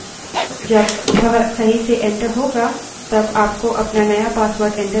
यहाँ मैं system का current password टाइप करूँगी